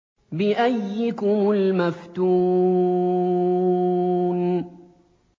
بِأَييِّكُمُ الْمَفْتُونُ